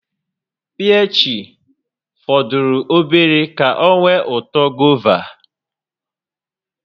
Piich fọdụrụ obere ka ọ nwee uto gova